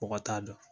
Mɔgɔ t'a dɔn